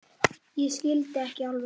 Ég skildi ekki alveg.